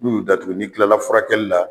N'u y'u datugu ni kilala furakɛli la